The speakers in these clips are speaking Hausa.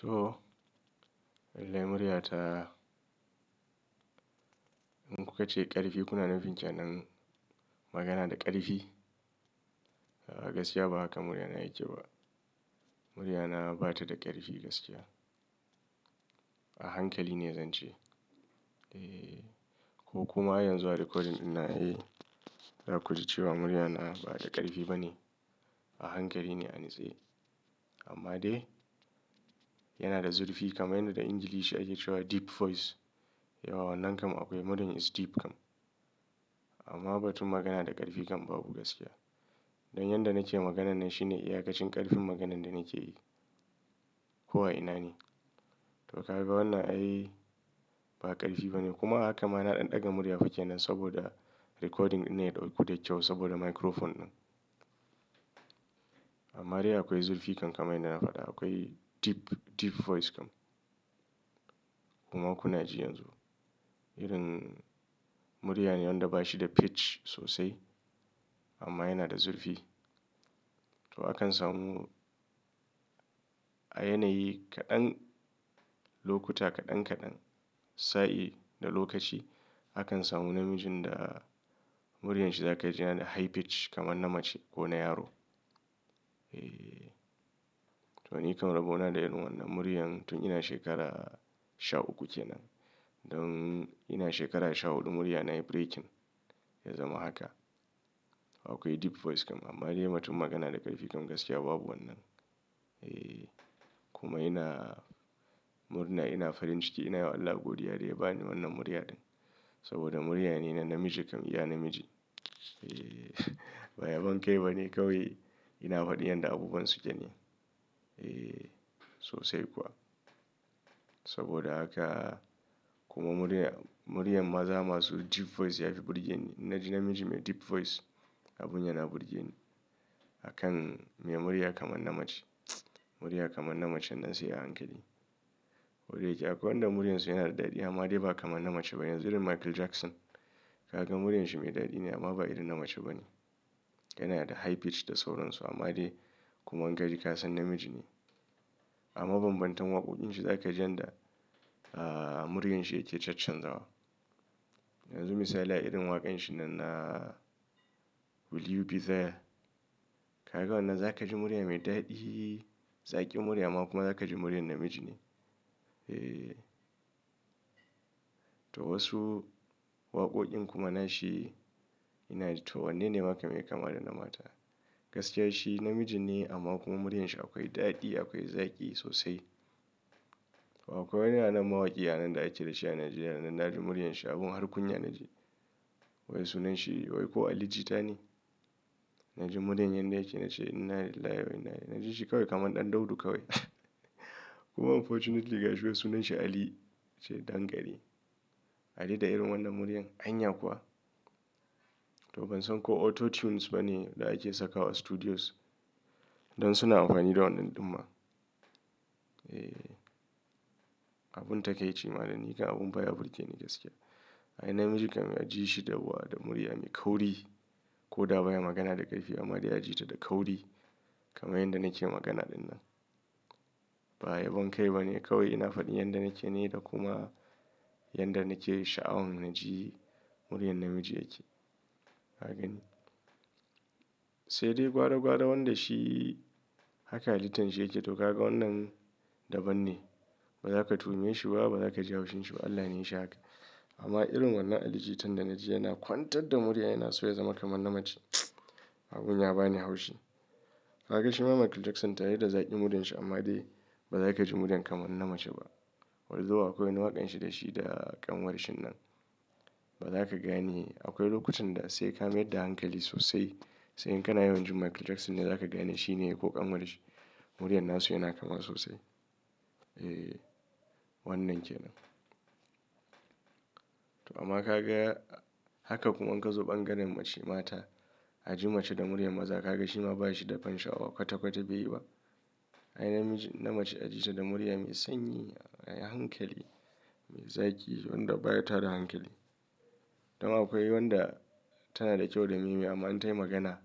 To, wallahi murya ta. In kuka ce ƙarfi, kuna nufin kenan magana da ƙarfi. Gaskiya ba haka murya na yake ba. Murya na ba ta da ƙarfi gaskiya. A hankali ne zan ce. Eee, ko kuma yanzu a recording ina, eh, za ku ji cewa murya na ba da ƙarfi bane. A hankali ne anatse. Amma dai yana da zurfi kamar yadda Ingilishi ake cewa deep voice. Yawa wannan kam akwai muryan is deep kam. Amma ba tun magana da ƙarfi kam babu gaskiya. Don yanda nake magana nan shi ne iyakacin ƙarfin maganan da nake yi. Ko a ina ne. To kaga wannan ai ba ƙarfi bane. Kuma haka ma na ɗan ɗaga murya fa ke nan saboda recording dinnan ya dauku da kyau saboda microphone ɗin. Amma dai akwai zurfi kam kaman yadda na faɗa. Akwai deep, deep voice kam. Kuma kuna ji yanzu. Irin muryane wanda ba shi da pitch sosai. Amma yana da zurfi. To akan samu a yanayi kaɗan, lokuta kaɗan kaɗan, sa'i da lokaci akan samu namijin da muryar shi za ka ji yana da high pitch kamar na mace ko na yaro. Eee. To ni kam rabo na da irin wannan. Muryan tun ina shekara sha uku kenan. Don ina shekara sha huɗu murya nayi breaking. Ya zama haka. Akwai deep voice kam. Amma dai batun magana da ƙarfi kam gaskiya babu wannan. Eee. Kuma ina murna ina farin ciki ina yi wa Allah godiya da ya ba ni wannan murya ɗin. Saboda murya ne na namiji kam iya namiji. Eee. Ba yabon kai bane kawai ina faɗi yanda abubuwan suke ne. Eee sosai kuwa. Saboda haka kuma muryar, muryar maza masu deep voice yafi burge ni. In na ji namiji mai deep voice abun yana burge ni. Akan me murya kamar na mace. Muryar kamar na mace nan sai a hankali. Kodayake akwai wanda muryar su yana da daɗi amma dai ba kamar na mace ba. Yanzu irin Michael Jackson. Kaga muryar shi mai daɗi ne amma ba irin na mace ba ne. Yana da high pitch da sauran su amma dai kuma in kaji kasan namiji ne. Amma bambantan waƙoƙin shi za ka ji yanda, ah, muryar shi yake chachan zawa. Yanzu misali a irin waƙan shi nan na Will You Be There. Kaga wannan za ka ji murya mai daɗi, zaƙi murya kuma za ka ji murya na namiji ne. Eee. To wasu waƙoƙin kuma nashi ina ji to wannan ne ma kam yai kama da na mata. Gaskiya shi namiji ne amma kuma muryar shi akwai daɗi, akwai zaƙi sosai. Akwai wani a nan mawaƙi a nan da ake da shi a Najeriya na nan na ji muryar shi abun har kunya na ji. Wai sunan shi wai ko Ali Jita ne. Na ji muryar yanda yake na ce innalillahi wa'ina. Na ji shi kawai kamar ɗanɗodo kawai. Kuma unfortunately gaskiya sunan shi Ali ce dankare. Ali da irin wannan muryar. Anya kuwa? To ban san ko auto tunes ba ne da ake saka wa studios. Don suna amfani da wannan ɗin ma. Eee. Abun takaici ma da ni kam abun fa ya burge ni gaskiya. Ai namiji kam ya ji shi yawwa da murya mai kauri. Ko da baya magana da ƙarfi amma dai ya ji ta da kauri. Kama yadda nake magana ɗin nan. Ba yabon kai ba ne kawai ina faɗi yanda nake ne da kuma yanda nake sha'awan na ji muryar namiji yake. Kaga ne. Sai dai gwara gwara wanda shi haka halitan shi yake. To kaga wannan daban ne. Ba za ka tuhume shi ba, ba za ka ji haushin shi ba. Allah ne ya shi haka. Amma irin wannan Ali Jitan da na ji yana kwantar da murya yana so ya zama kamar na mace. Abun ya ba ni haushi. Kaga shi ma Michael Jackson tare da zaƙi muryar shi amma dai ba za ka ji muryar kamar na mace ba. Allthough akwai wani waƙan shi da shi da ƙanwar shi nan. Ba za ka gane. Akwai lokutan da sai ka mayar da hankali sosai. Sai in kana yawan ji Michael Jackson ne za ka gane shi ne ko ƙanwar shi. Muryar nasu yana kama sosai. Eee. Wannan kenan. To amma ka ga haka kuma in ka zo ɓangaren mace mata. A ji mace da muryar maza ka ga shi ma ba shi da bansha a wa kwata kwata bai yi ba. Ai namiji, na mace a ji ta da murya mai sanyi, a yi hankali, mai zaƙi wanda baya tada hankali. Don akwai wanda tana da kyau da me me amma an tayi magana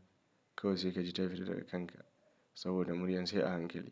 kawai sai ka ji ta fitar daga kanka. Saboda muryar sai a hankali.